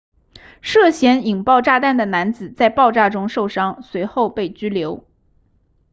涉嫌引爆炸弹的男子在爆炸中受伤随后被拘留